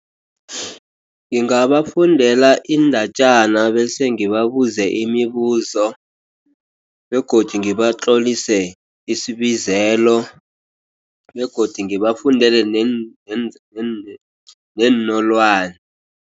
Ngingabafundela iindatjana bese ngibabuze imibuzo. Begodu ngibatlolise isibizelo. Begodu ngibafundele neenolwane.